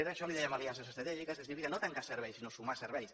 a això li’n dèiem aliances estratègiques no tancar serveis sinó sumar serveis